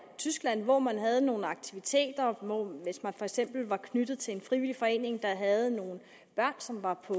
tyskland hvor man havde nogle aktiviteter mens man for eksempel var knyttet til en frivillig forening der havde nogle børn som var på